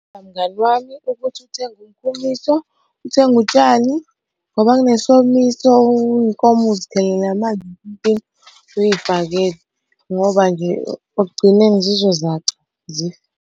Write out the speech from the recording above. Mngani wami ukuthi uthenge umkhuliso, uthenge utshani ngoba kunesomiso iy'nkomo uzikhelele amanzi empompini uy'fakele ngoba nje ekugcineni zizozaca zife.